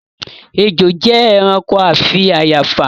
Ejò jẹ́ ẹranko afi àyààfà